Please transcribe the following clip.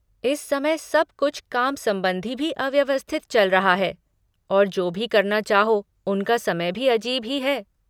इस समय सब कुछ काम संबंधी भी अव्यवस्थित चल रहा है और जो भी करना चाहो उनका समय भी अजीब ही है।